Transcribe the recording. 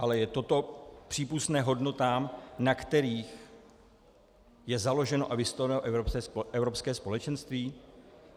Ale je toto přípustné hodnotám, na kterých je založeno a vystavěno Evropské společenství?